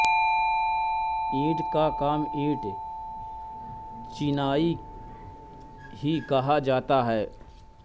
ईंट का काम ईंट चिनाई ही कहा जाता है